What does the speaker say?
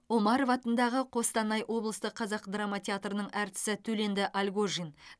омаров атындағы қостанай облыстық қазақ драма театрының әртісі төленді альгожин